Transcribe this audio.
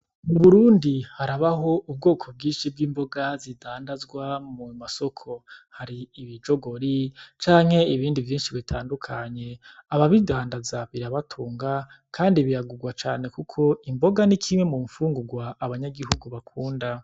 Mu Burundi harabaho ubwoko bwinshi bw'imboga zidandazwa mu masoko. Hari ibijogori canke ibindi vyinshi bitandukanye. Ababidandaza birabatunga, kandi biragugwa cane kuko, imboga ni kimwe mumfungugwa abanyagihugu bakunda.